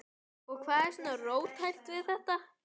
Og hvað er svona róttækt við þetta?